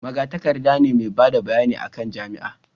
magatakarda ne mai bada bayani a kan jami'an